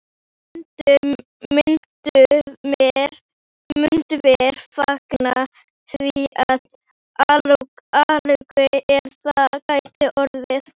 Myndum vér fagna því af alhug, ef það gæti orðið.